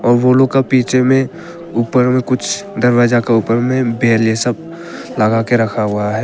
वो लोग के पीछे में ऊपर में कुछ दरवाजा का ऊपर में बेल जैसा लगा के रखा हुआ है।